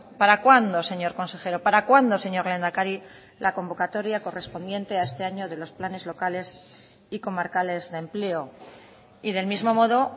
para cuándo señor consejero para cuándo señor lehendakari la convocatoria correspondiente a este año de los planes locales y comarcales de empleo y del mismo modo